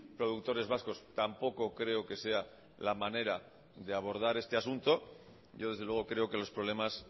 productores vascos tampoco creo que sea la manera de abordar este asunto yo desde luego creo que los problemas